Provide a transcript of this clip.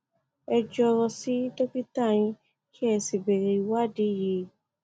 ẹ jọrọ sí dókítà yín kí ẹ sì béèrè ìwádìí yìí